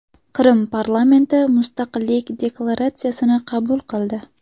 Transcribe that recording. Qrim parlamenti mustaqillik deklaratsiyasini qabul qildi.